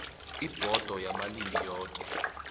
ibhodo yamalimi woke